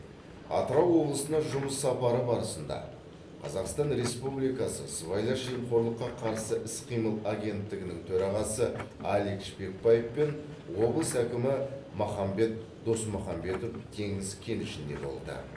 атырау облысына жұмыс сапары барысында қазақстан республикасы сыбайлас жемқорлыққа қарсы іс қимыл агенттігінің төрағасы алик шпекбаев пен облыс әкімі махамбет досмұхамбетов теңіз кенішінде болды